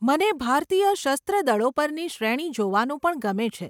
મને ભારતીય સસ્ત્ર દળો પરની શ્રેણી જોવાનું પણ ગમે છે.